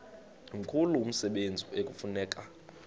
mkhulu umsebenzi ekufuneka